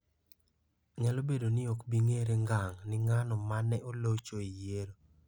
. Nyalo bedo ni ok bi ng'ere ngang' ni ng'ano ma ne olocho e yiero.